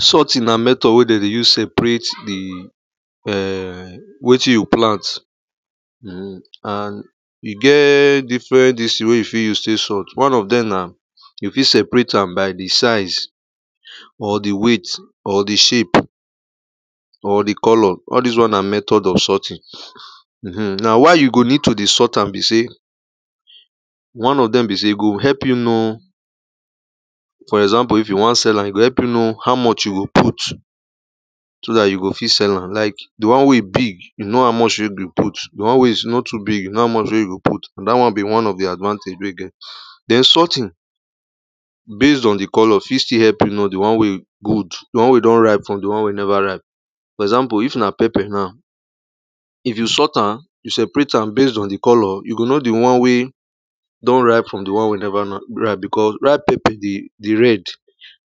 Sorting na method wey they use separate the um wetin you plant um and e get different this wey you fit use to sort. One of them na you fit separate am by the size um or the weight or the shape or the colour. All these one na method of sorting. um Now why you go need to de sort am be say one of them be say go help you know for example, if you want sell am, e go help you know how much you go put so that you go fit sell am. Like, the one wey big, you know how much wey you go put, the one wey no too big, know how much wey you go put, and that one be one of the advantage wey e get. Then, sorting based on the colour fit still help you know the one wey good, the one wey don ripe from the one wey never ripe. For example, if na pepper now, if you sort am, you separate am based on the colour, you go know the one wey don ripe from the one wey never ripe because ripe pepper de the red,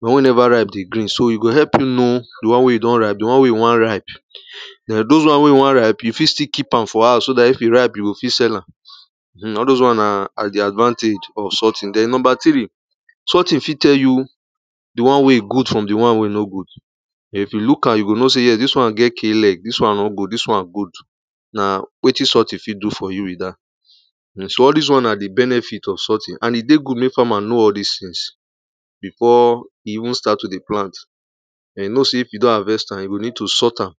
the one wey never ripe de the green, so e go help you know the one wey don ripe, the one wey no want ripe. Then those one wey no want ripe, you fit still keep am for house so that if e ripe you go fit sell am. All those one are the advantage of sorting. Then number three, sorting fit tell you the one wey good from the one wey no good. If you look am, you go know say yes, this one get k leg, this one no good, this one good. Na wetin sorting fit do for you be that. um So all these one na the benefit of sorting, and e dey good make farmer know all these things before e even start to de plant. E know say if e don harvest am, e go need to sort am,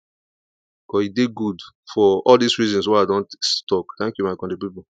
cos e dey good for all these reasons wey I don talk. Thank you my country people.